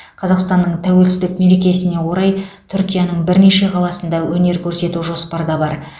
қазақстанның тәуелсіздік мерекесіне орай түркияның бірнеше қаласында өнер көрсету жоспарда бар